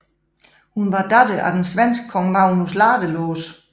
Hun var datter af den svenske kong Magnus Ladelås